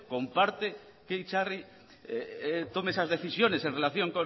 comparte que itzarri tome esas decisiones en relación